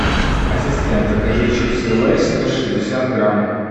ассистент закажи чипсы лейс сто шестьдесят грамм